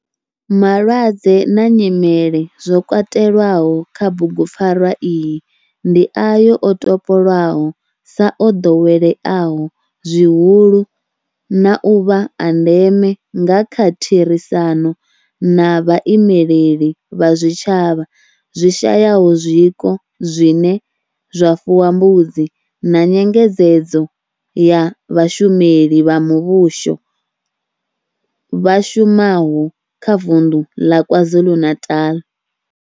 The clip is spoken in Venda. Malwadze na nyimele zwo katelwaho kha bugupfarwa iyi ndi ayo o topolwaho sa o doweleaho zwihulu na u vha a ndeme nga kha therisano na vhaimeleli vha zwitshavha zwi shayaho zwiko zwine zwa fuwa mbudzi na nyengedzedzo ya vhashumeli vha muvhusho vha shumaho kha vundu la KwaZulu-Natal.